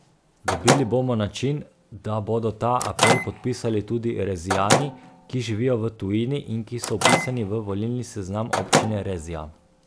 Dobili bomo način, da bodo ta apel podpisali tudi Rezijani, ki živijo v tujini in ki so vpisani v volilni seznam občine Rezija.